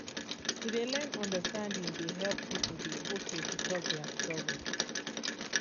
to de learn understanding de help people de okay to talk their struggle.